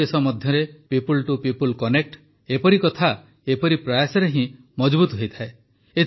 ଦୁଇ ଦେଶ ମଧ୍ୟରେ ପିପୁଲ୍ ଟୁ ପିପୁଲ୍ କନେକ୍ଟ ଏପରି କଥା ଏପରି ପ୍ରୟାସରେ ହିଁ ମଜଭୁତ ହୋଇଥାଏ